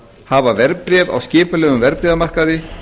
hafa verðbréf á skipulegum verðbréfamarkaði